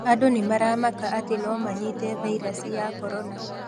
Andũ nĩmaramaka atĩ nomanyite vairasi ya korona